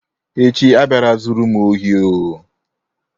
Echi abịala zuru m ohi oh.